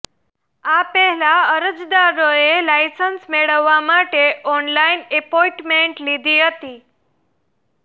આ પહેલા અરજદારોએ લાયસન્સ મેળવવા માટે ઓનલાઈન એપોઈન્ટમેન્ટ લીધી હતી